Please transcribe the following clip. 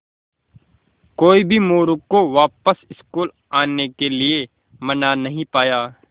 कोई भी मोरू को वापस स्कूल आने के लिये मना नहीं पाया